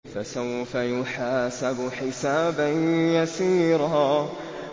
فَسَوْفَ يُحَاسَبُ حِسَابًا يَسِيرًا